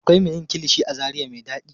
Akwai me yin kilishi a zaria me ɗaɗi.